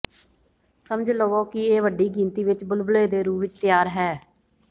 ਸਮਝ ਲਵੋ ਕਿ ਇਹ ਵੱਡੀ ਗਿਣਤੀ ਵਿੱਚ ਬੁਲਬਲੇ ਦੇ ਰੂਪ ਵਿੱਚ ਤਿਆਰ ਹੈ